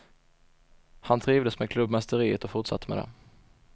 Han trivdes med klubbmästeriet och fortsatte med det.